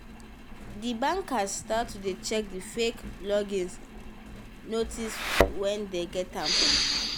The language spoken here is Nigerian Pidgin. the bankers start to check the fake login in notice wen them get